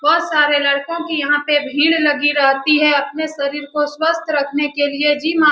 बोहोत सारे लड़कों की यहाँ पे भीड़ लगी रहती है अपने शारीर को स्वस्थ रखने के लिए जिम आ --